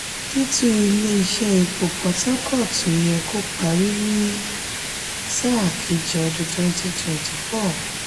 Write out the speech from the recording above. títún ṣe ilé iṣẹ́ ifopo port harcourt yẹ kó parí ní sáà kejì ọdún twenty twenty four